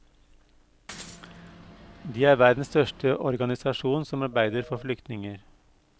De er verdens største organisasjon som arbeider for flyktninger.